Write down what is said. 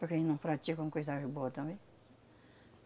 Porque eles não praticam coisas boa também.